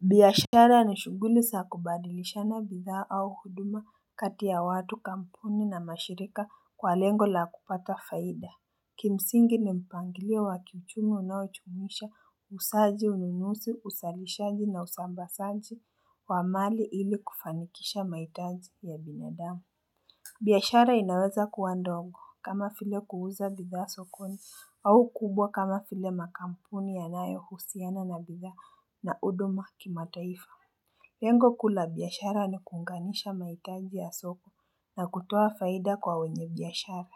Biashara ni shughuli za kubadilishana bidhaa au huduma kati ya watu kampuni na mashirika kwa lengo la kupata faida Kimsingi ni mpangilia wa kiuchumi unaojumuisha uuzaji ununuzi uzalishaji na usambazaji wa mali ili kufanikisha mahitaji ya binadamu biashara inaweza kuwa ndongo kama vile kuuza bidhaa sokoni au kubwa kama vile makampuni yanayohusiana na bidhaa na huduma kimataifa lengo kuu la biashara ni kuunganisha mahitaji ya soko na kutoa faida kwa wenye biashara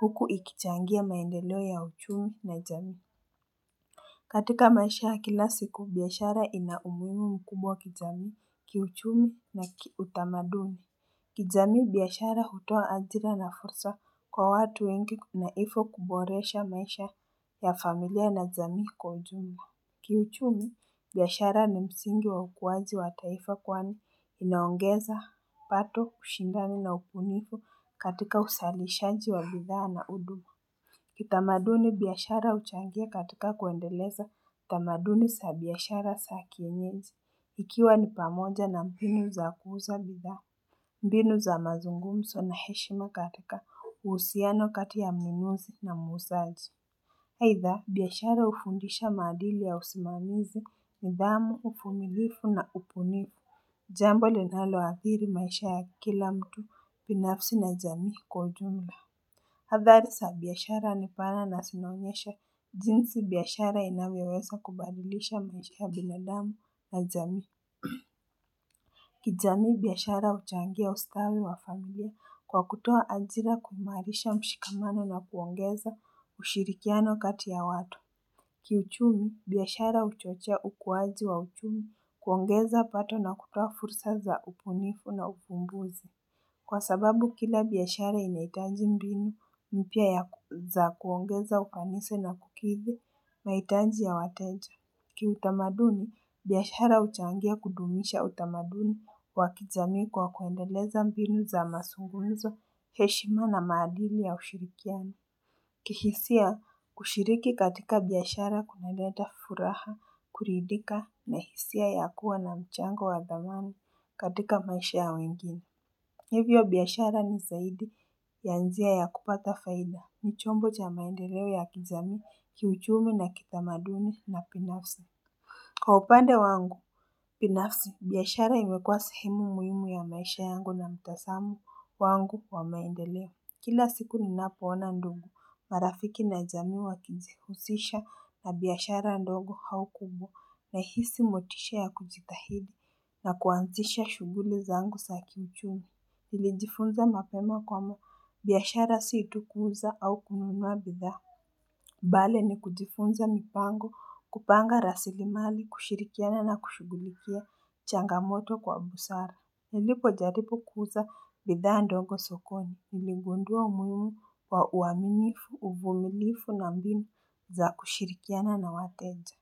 huku ikichangia maendeleo ya uchumi na jamii katika maisha ya kila siku biashara ina umuhimu mkubwa kijamii kiuchumi na kiutamaduni kijamii biashara hutoa ajira na fursa kwa watu wengi na hivyo kuboresha maisha ya familia na jamii kwa ujumla. Kiuchumi, biashara ni msingi wa ukuwaji wa taifa kwani inaongeza pato ushindani na ubunifu katika uzalishaji wa bidhaa na udungu. Kitamaduni biashara huchangia katika kuendeleza tamaduni za biashara za kienyeji ikiwa ni pamoja na mbinu za kuuza bidhaa. Mbinu za mazungumzo na heshima katika uhusiano kati ya mnununzi na muuzaji aitha, biashara hufundisha maadili ya usimamizi nidhamu, uvumilivu na ubunifu Jambo linaloadhiri maisha ya kila mtu binafsi na jamii kwa ujumla Hadhari za biashara ni pana na zinaonyesha jinsi biashara inavyoweza kubadilisha maisha ya binalamu na jamii kijamii biashara huchangia ustawi wa familia kwa kutoa ajira kuimarisha mshikamano na kuongeza ushirikiano kati ya watu Kiuchumi biaashara huchochea ukuwaji wa uchumi kuongeza pato na kutoa fursa za ubunifu na uvumbuzi Kwa sababu kila biashara inahitaji mbinu mpya za kuongeza ufanisi na kukidhi mahitaji ya wateja Kiutamaduni, biashara huchangia kudumisha utamaduni wa kijamii kwa kuendeleza mbinu za mazungumzo, heshima na maadili ya ushirikiano. Kihisia kushiriki katika biashara kunaleta furaha, kuridhika na hisia ya kuwa na mchango wa thamani katika maisha ya wengine. Hivyo biashara ni zaidi ya njia ya kupata faida. Ni chombo cha maendeleo ya kijamii kiuchumi na kitamaduni na binafsa. Kwa upande wangu binafsi, biiashara imekua sehemu muhimu ya maisha yangu na mtasamo wangu wa maendeleo. Kila siku ninapoona ndugu, marafiki na jamii wakijihusisha na biashara ndogo au kubwa nahisi motisha ya kujitahidi na kuanzisha shughuli zangu za kiuchumi. Nilijifunza mapema kwamba, biashara si tu kuuza au kununua bidhaa. Bali ni kujifunza mipango, kupanga rasilimali, kushirikiana na kushughulikia changamoto kwa busara. Nilipojaribu kuuza bidhaa ndogo sokoni, niligundua umuhimu wa uamimifu, uvumilifu na mbinu za kushirikiana na wateja.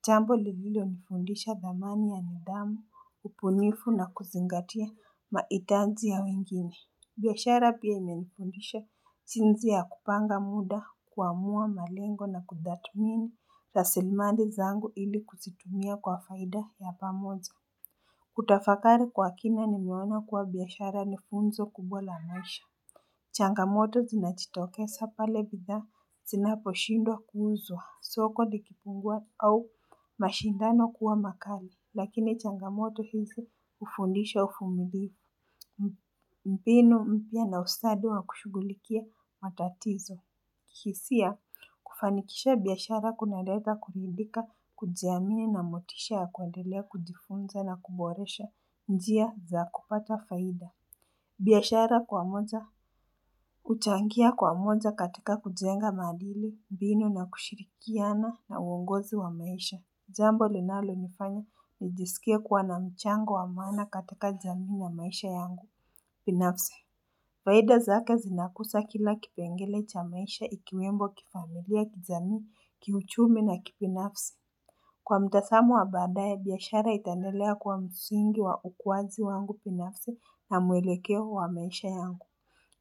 Chambo lililonifundisha dhamani ya nidhamu, ubunifu na kuzingatia mahitajii ya wengine. Biashara pia imenifundisha jinsi ya kupanga muda kuamua malengo na kutathimini rasilimali zangu ili kuzitumia kwa faida ya pamoja. Kutafakari kwa kina nimeona kuwa biashara ni fundzo kubwa la maisha. Changamoto zinajitokeza pale bidhaa zinaposhindo kuuzwa soko likipungua au mashindano kuwa makali lakini changamoto hizi hufundisha uvumilivu mbinu mpya na ustadi wa kushughulikia matatizo kihisia kufanikisha biashara kunaleta kuridhika kujiamini na motisha ya kuendelea kujifunza na kuboresha njia za kupata faida biashara kwa moja huchangia kwa moja katika kujenga maadili, mbinu na kushirikiana na uongozi wa maisha jambo linalonifanya nijisikie kuwa na mchango wa maana katika jamii na wa maisha yangu binafsi Faida zake zinakuza kila kipengele cha maisha ikiwemo kifamilia kijamii kiuchumi na kibinafsi Kwa mtazamo wa baadaya biashara itaennelea kuwa msingi wa ukuwaji wangu binafsi na muelekeo wa maisha yangu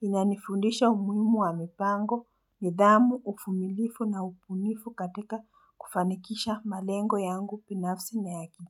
Inanifundisha umuhimu wa mipango, nidhamu, uvumilifu na ubunifu katika kufanikisha malengo yangu binafsi na ya kijamii.